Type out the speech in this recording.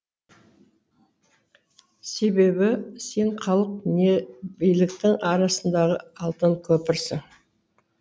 себебі сен халық не биліктің арасындағы алтын көпірсің